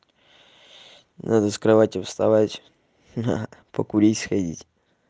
надо с кровати вставать на покурить сходить